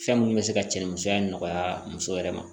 Fɛn minnu bɛ se ka cɛnnimisɛnya nɔgɔya muso yɛrɛ ma